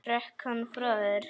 Hrökk hann frá þér?